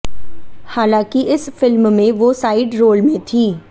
हालांकि इस फिल्म में वो साइड रोल में थी